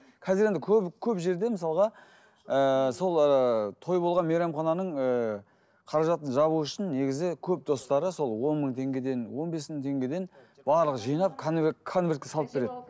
қазір енді көбі көп жерде мысалға ыыы сол той болған мейрамхананың ыыы қаражатын жабу үшін негізі көп достары сол он мың теңгеден он бес мың теңгеден барлығы жинап конверт конвертке салып береді